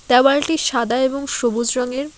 দেওয়ালটি সাদা এবং সবুজ রঙের।